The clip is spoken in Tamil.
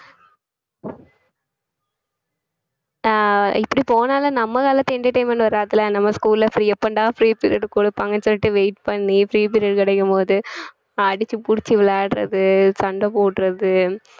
அஹ் இப்படி போனாலும் நம்ம காலத்து entertainment வராதுல்ல நம்ம school ல free எப்பன்டா free period குடுப்பாங்கன்னு சொல்லிட்டு wait பண்ணி free period கிடைக்கும் போது அடிச்சு புடிச்சு விளையாடறது சண்டை போடறது